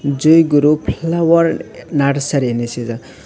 joy guru felawar narsari hinui sijak.